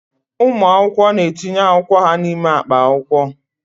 Ụmụ akwụkwọ na-etinye akwụkwọ ha n'ime akpa akwụkwọ.